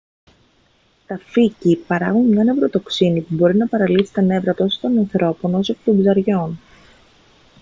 τα φύκη παράγουν μια νευροτοξίνη που μπορεί να παραλύσει τα νεύρα τόσο των ανθρώπων όσο και των ψαριών